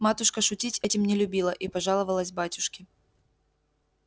матушка шутить этим не любила и пожаловалась батюшке